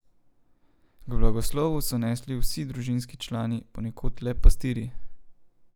K blagoslovu so nesli vsi družinski člani, ponekod le pastirji.